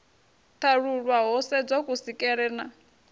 ṱalulwa ho sedzwa kusikelwe na